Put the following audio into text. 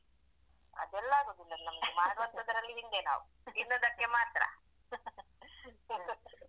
ಅದೆಲ್ಲ ಆಗುದಿಲ್ಲ ನಮ್ಗೆ ಮಾಡುವಂತದ್ರಲ್ಲಿ ಹಿಂದೆ ನಾವು ತಿನ್ನುದಕ್ಕೆ ಮಾತ್ರ.